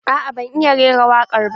A'a ban iya rera wakar ba.